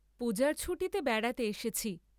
পূজার ছুটীতে বেড়াতে এসেছি।